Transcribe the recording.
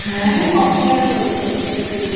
খুবই Popular হয়েছে Web Series টা